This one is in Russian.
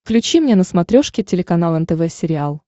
включи мне на смотрешке телеканал нтв сериал